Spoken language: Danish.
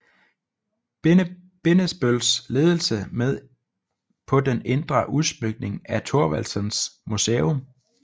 Bindesbølls ledelse med på den indre udsmykning af Thorvaldsens Museum